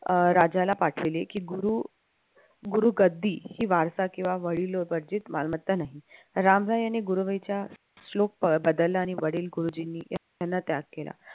अह राजाला पाठविले की गुरु गुरु कधीही वारसा किंवा वडिलोपर्जित मालमत्ता नाही. रामराय यांनी गुरुवेच्या श्लोक बदलला आणि वडील गुरुजींनी त्याग केला